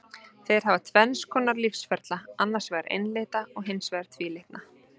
Þeir hafa tvenns konar lífsferla, annars vegar einlitna og hins vegar tvílitna.